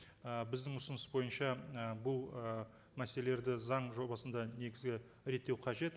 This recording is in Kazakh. і біздің ұсыныс бойынша і бұл ы мәселелерді заң жобасында негізі реттеу қажет